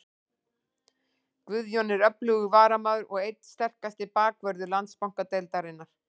Guðjón er öflugur varnarmaður og einn sterkasti bakvörður Landsbankadeildarinnar.